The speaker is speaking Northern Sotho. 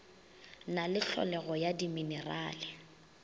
na le tlholego ya diminerale